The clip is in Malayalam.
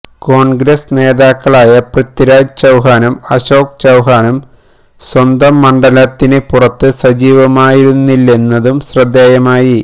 കോൺഗ്രസ് നേതാക്കളായ പൃഥ്വിരാജ് ചൌഹാനും അശോക് ചൌഹാനും സ്വന്തം മണ്ഡലത്തിന് പുറത്ത് സജീവമായിരുന്നില്ലെന്നതും ശ്രദ്ധേയമായി